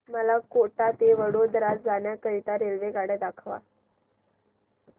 मला कोटा ते वडोदरा जाण्या करीता रेल्वेगाड्या दाखवा